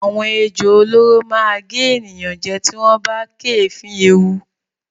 Àwọn ejò olóró máa gé ènìyàn jẹ tí wọ́n bá kéèéfín ewu.